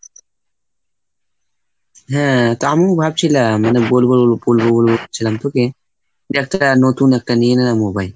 হ্যাঁ তা আমি ভাবছিলাম মানে বলবো বলবো বলবো বলবো করছিলাম তোকে যে নতুন একটা নতুন নিয়ে নে না mobile